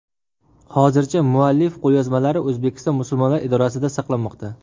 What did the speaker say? Hozirda muallif qo‘lyozmalari O‘zbekiston Musulmonlar idorasida saqlanmoqda.